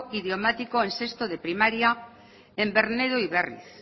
idiomático en sexto de primaria en bernedo y berriz